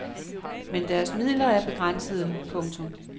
Men deres midler er begrænsede. punktum